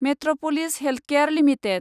Metropolis Healthcare limited